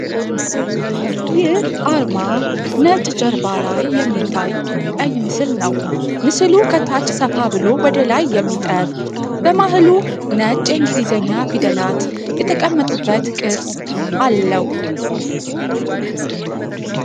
ይህ አርማ ነጭ ጀርባ ላይ የሚታይ ቀይ ምስል ነው። ምስሉ ከታች ሰፋ ብሎ ወደ ላይ የሚጠብ፣ በመሃሉ ነጭ የእንግሊዝኛ ፊደላት የተቀመጡበት ቅርጽ አለው።